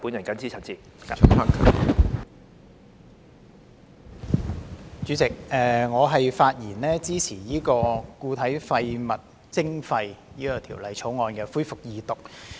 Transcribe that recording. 主席，我發言支持《2018年廢物處置條例草案》恢復二讀。